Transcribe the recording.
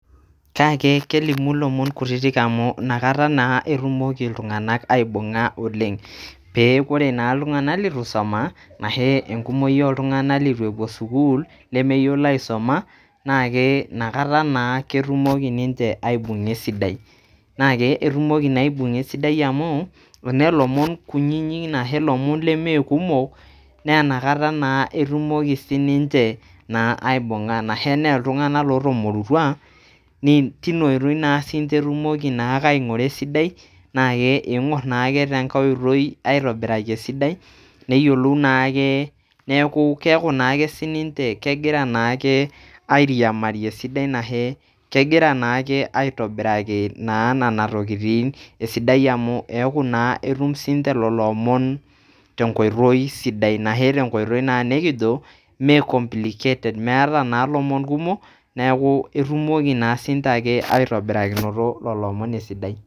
Kake kelimu lomon kutitik amu inakata naa amui inakata naa etumoki iltung'anak aibung'a oleng', pee kore iltung'anak lituisoma anashe enkumoi oltung'anak litu epuo sukuul lemeyiolo aisoma naake inakata naa etumoki ninje aibung'a esidai. Naake etumoki naa aibung'a esidai amu enaa lomon kunyinyik anashe enaa lomon lemee kumok, naa inakata naa etumoki sininje naa aibung'a anashe enaa iltung'anak lotomurutua, tina oitoi naa siinje naake etumoki aing'ura esidai naake ing'or naake tenkai oitoi aitobiraki esidai neyolou naake neeku keeku naake sininje kegira naake ariamari esidai anashe kegira naake aitobiraki naa nana tokitin esidai amu eeku naa etum sinje lelo omon tenkoitoi sidai. Anashe tenkoitoi naa nekijo mee complicated metaa naa lomon kumok neeku etumoki naa sinje ake aitobirakinoto lelo omon esidai.